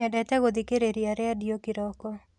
Nyendete gũthikĩrĩria rendio kĩroko.